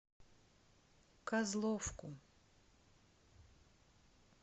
козловку